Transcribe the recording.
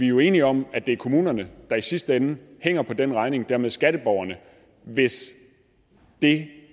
jo enige om at det er kommunerne der i sidste ende hænger på den regning og dermed skatteborgerne hvis det